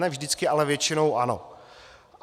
Ne vždycky, ale většinou ano.